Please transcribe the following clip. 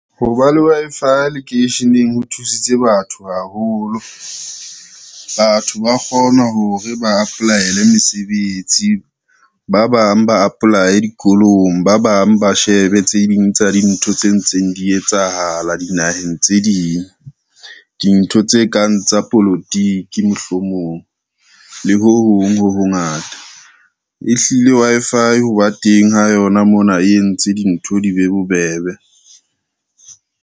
Ho ba le Wi-Fi lekeisheneng ho thusitse batho haholo. Batho ba kgona hore ba apply-ele mesebetsi, ba bang ba apply dikolong, ba bang ba shebe tse ding tsa dintho tse ntseng di etsahala dinaheng tse ding, dintho tse kang tsa polotiki, mohlomong le ho hong ho hongata. Ehlile Wi-Fi ho ba teng ho yona mona e entse dintho di be bobebe.